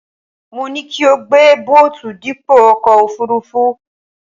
Mo ní kí o gbé bóòtù dípò ọkọ̀ òfuurufú